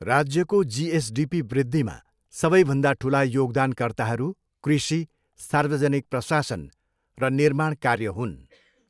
राज्यको जिएसडिपी वृद्धिमा सबैभन्दा ठुला योगदानकर्ताहरू कृषि, सार्वजनिक प्रशासन र निर्माण कार्य हुन्।